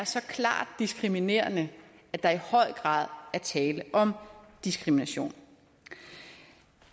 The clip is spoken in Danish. så klart diskriminerende at der i høj grad var tale om diskrimination